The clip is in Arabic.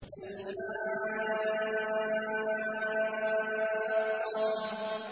الْحَاقَّةُ